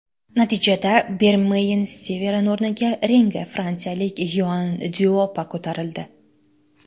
Natijada, Bermeyn Stivern o‘rniga ringga fransiyalik Yoann Dyuopa ko‘tarildi.